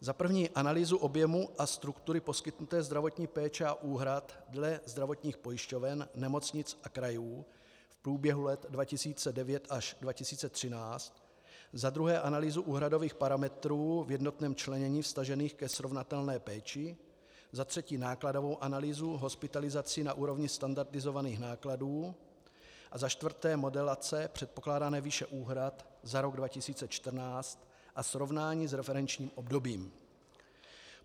Za prvé analýzu objemu a struktury poskytnuté zdravotní péče a úhrad dle zdravotních pojišťoven, nemocnic a krajů v průběhu let 2009 až 2013, za druhé analýzu úhradových parametrů v jednotném členění vztažených ke srovnatelné péči, za třetí nákladovou analýzu hospitalizací na úrovni standardizovaných nákladů a za čtvrté modelace předpokládané výše úhrad za rok 2014 a srovnání s referenčním obdobím.